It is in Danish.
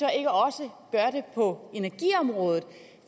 er gør det på energiområdet